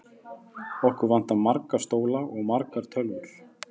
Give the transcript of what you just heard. Okkur vantar marga stóla og margar tölvur.